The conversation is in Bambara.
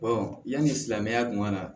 yanni silamɛya kun ka na